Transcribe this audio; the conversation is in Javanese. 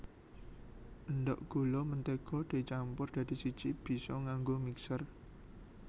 Endhog gula mentega dicampur dadi siji bisa nganggo mixer